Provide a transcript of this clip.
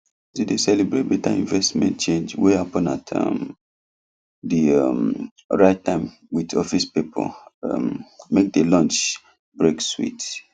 to dey celebrate better investment change wey happen at um the um right time with office people um make the lunch break sweet